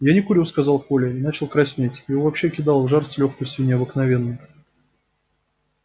я не курю сказал коля и начал краснеть его вообще кидало в жар с лёгкостью необыкновенной